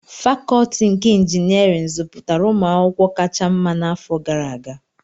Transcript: Fakọọti nke Injinịarịn zụpụtara ụmụ akwụkwọ kacha mma n'afọ gara aga